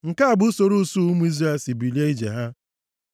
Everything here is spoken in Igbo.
Nke a bụ usoro usuu ụmụ Izrel si bilie ije ha.